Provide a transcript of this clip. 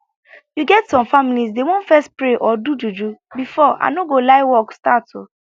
you get some families dey want fess pray or do juju before i no go lie work start